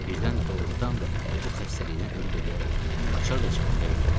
Birdən doğurdan da bu xəstəlikdən ölüb eləyərəm, açar da cibimdə idi.